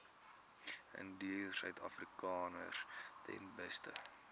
indiërsuidafrikaners ten beste